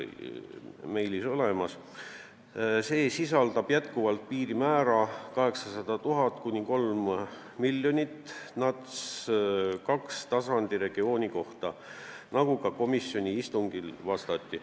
Määruses kehtib NUTS-i teise tasandi regiooni kohta endiselt piirmäär 800 000 kuni 3 miljonit elanikku, nagu ka komisjoni istungil selgitati.